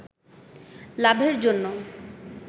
লাভের জন্য